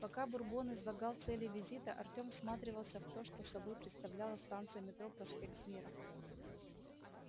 пока бурбон излагал цели визита артем всматривался в то что собой представляла станция метро проспект мира